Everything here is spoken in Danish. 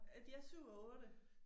Øh de er 7 og 8